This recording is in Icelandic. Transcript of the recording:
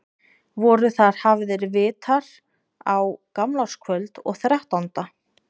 Voru þar hafðir vitar á gamlárskvöld og þrettánda.